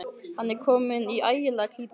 Hann er kominn í ægilega klípu.